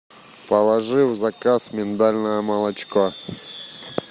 положи в заказ миндальное молочко